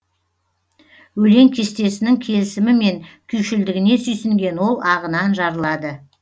өлең кестесінің келісімі мен күйшілдігіне сүйсінген ол ағынан жарылады